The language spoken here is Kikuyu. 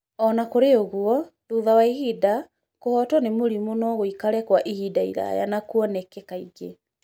O na kũrĩ ũguo, thutha wa ihinda, kũhootwo nĩ mũrimũ no gũikare kwa ihinda iraya na kuoneke kaingĩ.